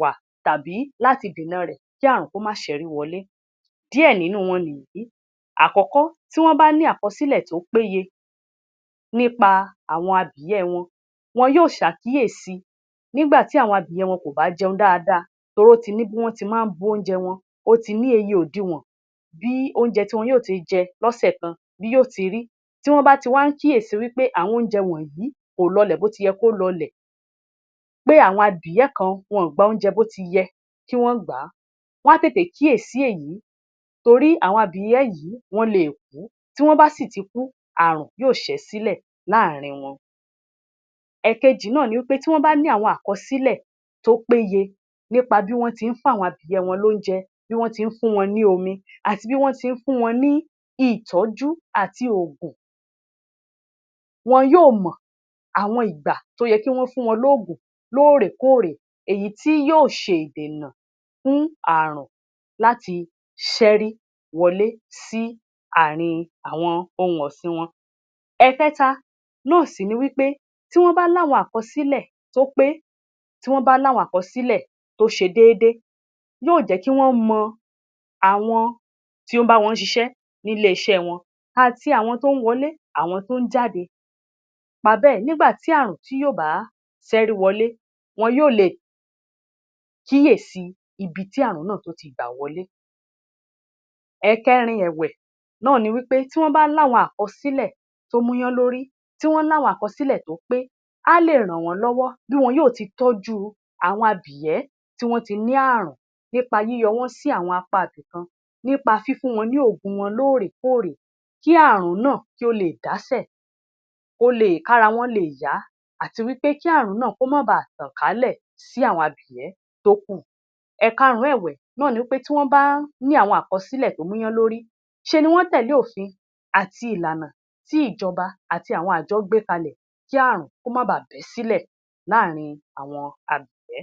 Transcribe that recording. wá tàbí lláti dènà rẹ̀ kí ààrùn kó má ṣẹ́rí wọlé. Díẹ̀ nínú wọn nìyiìí. Àkọ́kọ́, tí wọ́n bá ní àkọsílẹ̀ tó péye nípa abìyẹ́ wọn, wọn yóò ṣàkíyèsi nígbà tí awọn abìyẹ́ wọn kò bá jẹun dáadáa torí ó ti ní bí wọ́n ti máa ń bu oúnjẹ wọn, ó ti ní eye òdiwọ̀n bí oúnjẹ tí wọn yóò jẹ lọ́sẹ̀ kan bí yóò ti rí. Tí wọ́n bá ti wá ń kíyèsi wí pé àwọn oúnjẹ wọ̀nyìí kò lọlẹ̀ bó ti yẹ kó lọlẹ̀, pé àwọn abìyẹ́ kan, wọn ò gba oúnjẹ bó ti yẹ kí wọ́n gbà á, wọ́n á tètè kíyèsí èyí torí àwọn abìyẹ́ yìí wọ́n leè kú, tí wọ́n bá sì ti kú, ààrùn yóò ṣẹ́ sílẹ̀ láàárín wọn. Ẹ̀ẹ̀kejì náà ni wi pé tí wọ́n bá ní àwọn àkọsílẹ̀ tó péye nípa bí wọ́n ti ń fún àwọn abìyẹ́ wọn lóúnjẹ, bí wọ́n ti ń fún wọn ní omi, àti bí wọ́n ti ń fún wọn ní ìtọ́jú àti òògùn, wọn yóò mọ̀ àwọn ìgbà tó yẹ kí wọ́n fún wọn lóògùn lóòrèkóòrè, èyí tí yóò ṣe ìdènà fún ààrùn láti ṣẹ́rí wọlé sí ààrin àwọn ohun ọ̀sìn wọn. Ẹ̀ẹ̀kẹta náà sì ni wí pé tí wọ́n bá ní àwọn àkọsílẹ̀ tó pé, tí wọ́n bá ní àwọn àkọsílẹ̀ tó ṣe déédé, yóò jẹ́ kí wọ́n mọ àwọn tó ń bá wọn ṣiṣẹ́ nílé-iṣẹ́ wọn àti àwọn tó ń wọlé, àwọn tó ń jáde, nípa bẹ́ẹ̀, nígbà tí ààrùn tí yóò bá ṣẹ́rí wọlé, wọn yóò le kíyèsíi ibi tí ààrùn nàà tó ti gbà wọlé. Ẹ̀ẹ̀kẹrin ẹ̀wẹ̀ náà ni wi pé tí wọ́n bá láwọn àkọsílẹ̀ tó múyánlórí, tí wọ́n láwọn àkọsílẹ̀ tó pé, á lè ràn wọ́n lọ́wọ́ bí wọn yóò ti tọ́jú àwọn abìyẹ́ tí wọ́n ti ní ààrùn nípa yíyọ wọ́n sí àwọn apá ibìkan, nípa fífún wọn ní òògùn wọn lóòrèkóòrè kí ààrùn náà kí ó leè dásẹ̀, kó leè, kára wọn leè yá, àti wí pé kí ààrùn náà kó má baà tàn kálẹ̀ sí àwọn abìyẹ́ tó kù. Ẹ̀ẹ̀karùn-ún ẹ̀wẹ̀, náà ni wí pé tí wọ́n bá ní àwọn àkọsílẹ̀ tó múyánlórí, ńṣe ni wọ́n tẹ̀lé òfin àti ìlànà tí ìjọba àti àwọn àjọ gbé kalẹ̀ kí ààrùn kó má baà bẹ́ sílẹ̀ láàárín àwọn abìyẹ́.